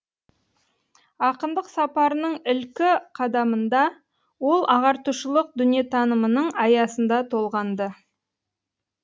ақындық сапарының ілкі қадамында ол ағартушылық дүниетанымының аясында толғанды